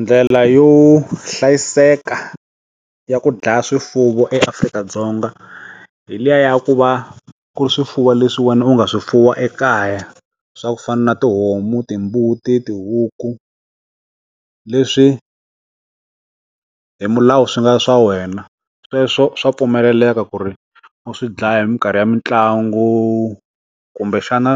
Ndlela yo hlayiseka ya ku dlaya swifuwo eAfrika-Dzonga hi liya ya ku va ku ri swifuwo leswi wena u nga swifuwa ekaya swa ku fana na tihomu, timbuti, tihuku leswi hi milawu swi nga swa wena sweswo swa pfumeleleka ku ri u swi dlaya hi mikarhi ya mitlangu kumbe xana